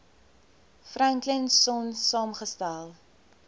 franklin sonn saamgestel